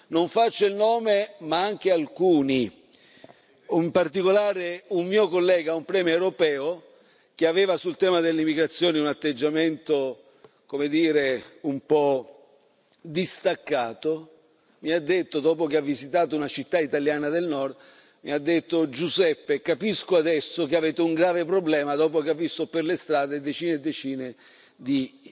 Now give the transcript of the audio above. Non faccio il nome, ma anche alcuni, in particolare un mio collega, un premier europeo, che aveva sul tema dell'immigrazione un atteggiamento, come dire, un po' distaccato, mi ha detto, dopo che ha visitato una città italiana del Nord Giuseppe, capisco adesso che avete un grave problema, dopo che ha visto per le strade decine e decine di